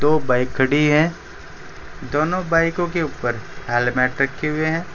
दो बाइक खड़ी है दोनों बाइक के ऊपर हेलमेट रखे हुए है।